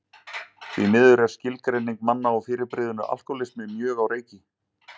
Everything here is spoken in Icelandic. Því miður er skilgreining manna á fyrirbrigðinu alkohólismi mjög á reiki.